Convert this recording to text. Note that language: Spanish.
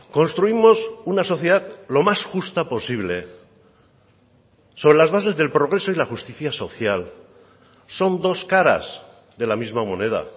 construimos una sociedad lo más justa posible sobre las bases del progreso y la justicia social son dos caras de la misma moneda